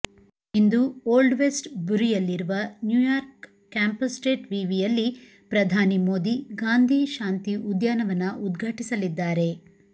ಇಂದು old west ಬುರಿಯಲ್ಲಿರುವ New York campus state ವಿವಿಯಲ್ಲಿ ಪ್ರಧಾನಿ ಮೋದಿ ಗಾಂಧಿ ಶಾಂತಿ ಉದ್ಯಾನವನ ಉದ್ಘಾಟಿಸಲಿದ್ದಾರೆ